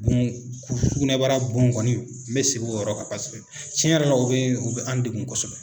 bon sugunɛbara bon kɔni n bɛ segin o yɔrɔ kan paseke cɛn yɛrɛ la u bɛ u bɛ an degun kosɛbɛ.